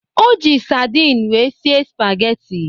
O ji sardin wee sie spageti